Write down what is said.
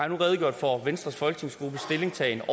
nu redegjort for venstres folketingsgruppes stillingtagen og